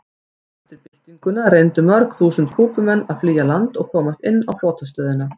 Eftir byltinguna reyndu mörg þúsund Kúbumenn að flýja land og komast inn á flotastöðina.